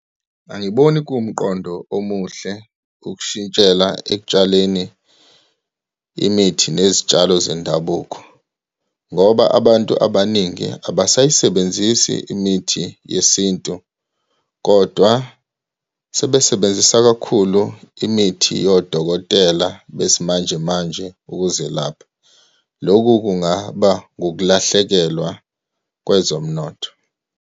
Angiboni kuwumqondo omuhle ukushintshela ekutshaleni imithi nezitshalo zendabuko, ngoba abantu abaningi abasayisebenzisi imithi yesintu, kodwa sebesebenzisa kakhulu imithi yodokotela besimanjemanje ukuzelapha. Loku kungaba ngukulahlekelwa kwezomnotho.